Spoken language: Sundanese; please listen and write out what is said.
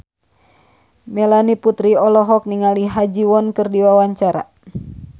Melanie Putri olohok ningali Ha Ji Won keur diwawancara